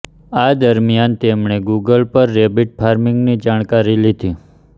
આ દરમ્યાન તેમણે ગુગલ પર રેબિટ ફાર્મિંગ ની જાણકારી લીધી